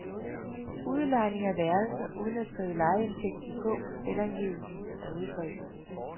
Udlejning af værelser uden at skrive lejeindtægten på selvangivelsen er udbredt.